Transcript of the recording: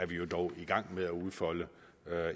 vi jo dog i gang med at udfolde